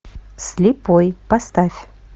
слепой поставь